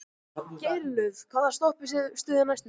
Geirlöð, hvaða stoppistöð er næst mér?